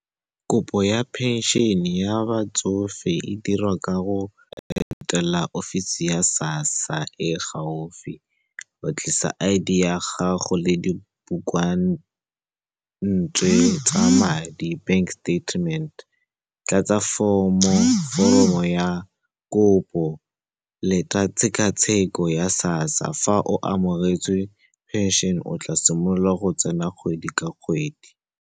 Kopo ya phenšene ya batsofe e dirwa ka go etela ofisi ya SASSA e e gaufi wa tlisa I_D ya gago le dibukwantswe tsa madi, bank statement. Tlatsa foromo ya kopo, leta tshekatsheko ya SASSA, fa o amogetswe phenšene, o tla simolola go tsena kgwedi ka kgwedi.